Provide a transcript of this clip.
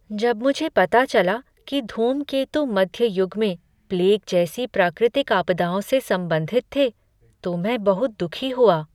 जब मुझे पता चला कि धूमकेतु मध्य युग में प्लेग जैसी प्राकृतिक आपदाओं से संबंधित थे तो मैं बहुत दुखी हुआ।